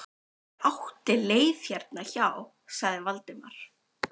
Ég átti leið hérna hjá- sagði Valdimar.